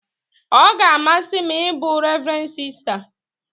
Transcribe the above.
Ọ ga-amasị m ịbụ revren sista